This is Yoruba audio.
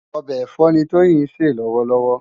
Òbè ẹfọ ni Toyin nsé lòwòlòwò